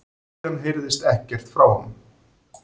Síðan heyrðist ekkert frá honum